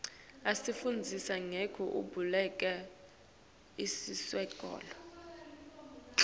asifundzisa ngekubaluleka iwesikolo